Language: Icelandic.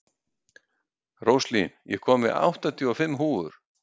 Róslín, ég kom með áttatíu og fimm húfur!